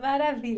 Maravilha.